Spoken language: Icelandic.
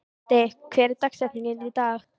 Baddi, hver er dagsetningin í dag?